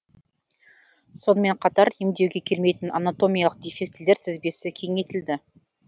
сонымен қатар емдеуге келмейтін анатомиялық дефектілер тізбесі кеңейтілді